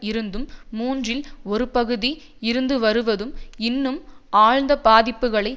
இருந்தும் மூன்றில் ஒரு பகுதி இருந்து வருவதும் இன்னும் ஆழ்ந்த பாதிப்புக்களை